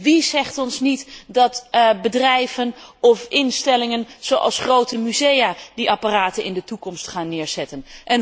Wie zegt ons dat bedrijven of instellingen, zoals grote musea, niet die apparaten in de toekomst gaan neerzetten.